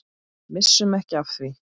Missum ekki af því.